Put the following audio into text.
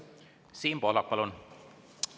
Siim Pohlak, palun!